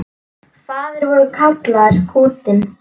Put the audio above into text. Faðir vor kallar kútinn.